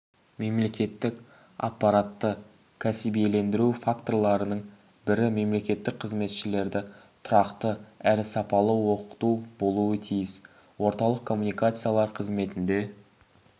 мемлекеттік аппаратты кәсібилендіру факторларының бірі мемлекеттік қызметшілерді тұрақты әрі сапалы оқыту болуы тиіс орталық коммуникациялар қызметінде